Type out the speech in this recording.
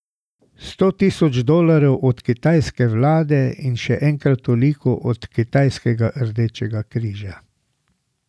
Sto tisoč dolarjev od kitajske vlade in še enkrat toliko od kitajskega Rdečega križa.